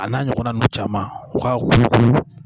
A n'a ɲɔgɔnna ninnu caman u ka